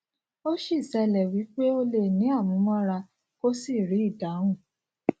o sì sele wípé ó lè ní amu mọra kò sì ri ìdáhùn